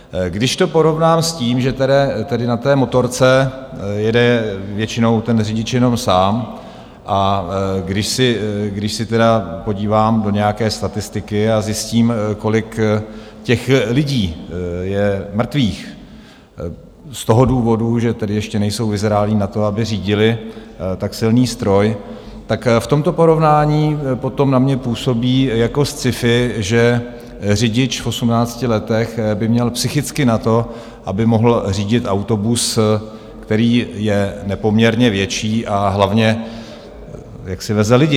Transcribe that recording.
Když to porovnám s tím, že tedy na té motorce jede většinou ten řidič jenom sám, a když se tedy podívám do nějaké statistiky a zjistím, kolik těch lidí je mrtvých z toho důvodu, že tedy ještě nejsou vyzrálí na to, aby řídili tak silný stroj, tak v tomto porovnání potom na mě působí jako sci-fi, že řidič v 18 letech by měl psychicky na to, aby mohl řídit autobus, který je nepoměrně větší, a hlavně jaksi veze lidi.